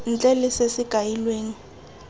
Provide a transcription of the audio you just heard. ntle le se se kailweng